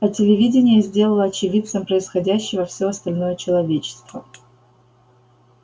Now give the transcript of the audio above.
а телевидение сделало очевидцем происходящего всё остальное человечество